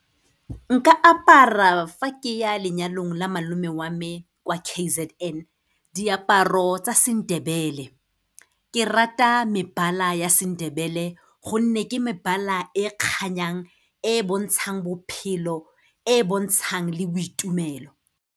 Nka apara fa ke ya lenyalong la malome wa me kwa K_Z_N, diaparo tsa seNdebele. Ke rata mebala ya seNdebele gonne ke mebala e kganyang e e bontshang bophelo, e e bontshang le boitumelo.